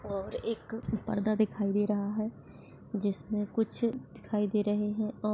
और एक पर्दा दिखई दे रहा है जिसमे कुछ दिखई दे रहे है और--